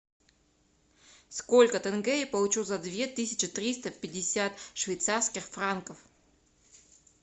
сколько тенге я получу за две тысячи триста пятьдесят швейцарских франков